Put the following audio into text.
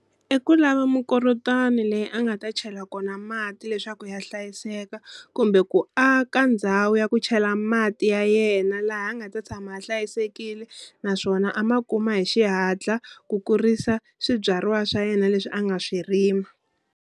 I ku lava mikorotwani leyi a nga ta chela kona mati leswaku ya hlayiseka kumbe ku aka ndhawu ya ku chela mati ya yena laha a nga ta tshama a hlayisekile naswona a ma kuma hi xihatla ku kurisa swibyariwa swa yena leswi a nga swi rima.